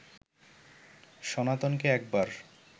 সনাতনকে একবার